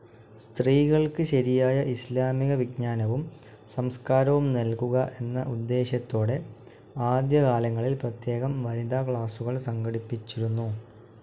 സ്‌ത്രീകൾക്ക് ശരിയായ ഇസ്‌ലാമിക വിജ്ഞാനവും സംസ്‌കാരവും നൽകുക എന്ന ഉദ്ദേശ്യത്തോടെ ആദ്യകാലങ്ങളിൽ പ്രത്യേകം വനിതാക്ലാസുകൾ സംഘടിപ്പിച്ചിരുന്നു.